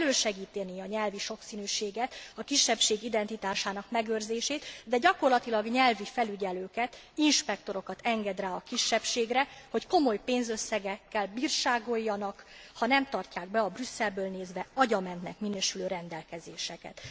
Nemhogy elősegítené a nyelvi sokszínűséget, a kisebbség identitásának megőrzését, de gyakorlatilag nyelvi felügyelőket, inspektorokat enged rá a kisebbségre, hogy komoly pénzösszegekkel bírságoljanak, ha nem tartják be a Brüsszelből nézve agyamentnek minősülő rendelkezéseket.